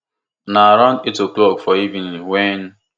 na around eight oclock for evening wen